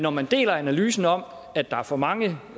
om man deler analysen om at der er for mange